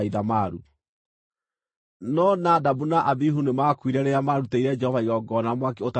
No Nadabu na Abihu nĩmakuire rĩrĩa maarutĩire Jehova igongona na mwaki ũtaarĩ mwĩtĩkĩrie.)